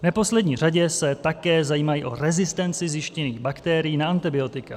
V neposlední řadě se také zajímají o rezistenci zjištěných bakterií na antibiotika.